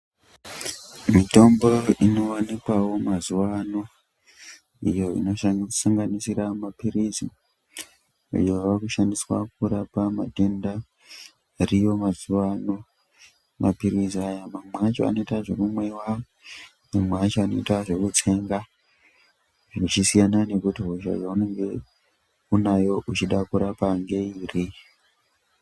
Mitombo inowanikwawo mazuvano iyo inosanganisira maphirizi ayo ava kushandiswa kurapa matenda ariyo mazuva ano. Maphirizi aya mamwe acho anoita zvekumwiwa, mamwe acho anoita zvekutsenga, zvichisiyana nekuti hosha yaunonge unayo uchida kurapa ngeiri.